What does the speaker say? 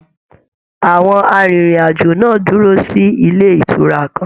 Àwọn arinrin-ajo náà dúró sílé ìtura kàn.